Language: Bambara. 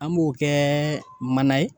An b'o kɛ manan ye